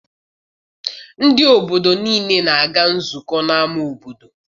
Ndị obodo niile na-aga nzukọ n'ama obodo.